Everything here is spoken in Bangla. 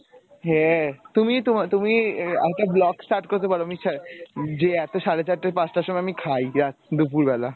হ্যাঁ তুমি তোমা তুমি আরেকটা vlog start করতে পারো যে এতো সাড়ে চারটা পাঁচটার সময় আমি খাই ইয়া দুপুর বেলা।